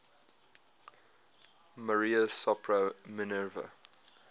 maria sopra minerva